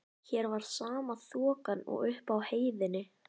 Hér var sama þokan og uppi á heiðinni.